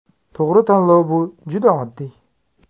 To‘g‘ri tanlov bu juda oddiy!